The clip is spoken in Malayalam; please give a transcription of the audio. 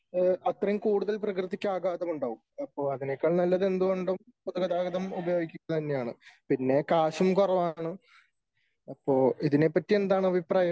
അത്രയും കൂടുതൽ പ്രകൃതിക്ക് ആഘാതം ഉണ്ടാകും . അപ്പോൾ അതിനേക്കാൾ നല്ലത് എന്തുകൊണ്ടും പൊതുഗതാഗതം ഉപയോഗിക്കുന്നത് തന്നെയാണ്. പിന്നെ കാശും കുറവാണ് . അപ്പോ ഇതിനെ പറ്റി എന്താണ് അഭിപ്രായം ?